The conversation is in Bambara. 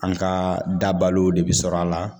An ka dabalow de bɛ sɔrɔ a la